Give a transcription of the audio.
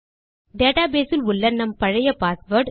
database இல் உள்ள நம் பழைய பாஸ்வேர்ட்